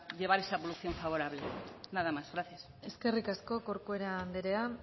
llevar esa evolución favorable nada más gracias eskerrik asko corcuera andrea